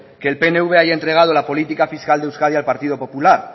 que el pnv haya entregado la política fiscal de euskadi al partido popular